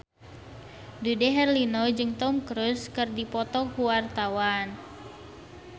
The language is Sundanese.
Dude Herlino jeung Tom Cruise keur dipoto ku wartawan